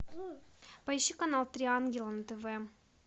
поищи канал три ангела на тв